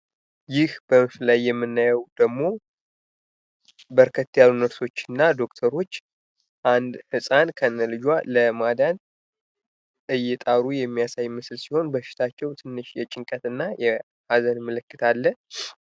ይህ በምስሉ ላይ የምናየው ደግሞ አንድን ህጻን በርከት ያሉ ነርሶች እና ዶክተሮች እናት ከነልጇ ለማዳን እየጣሩ የሚያሳይ ምስል ሲሆን በሽታቸው ትንሽ የጭንቀትና የመናገር ምልክት አለ።